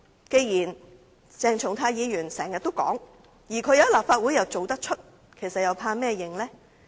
既然鄭松泰議員經常這樣說話，而他在立法會又做得出，為甚麼害怕承認呢？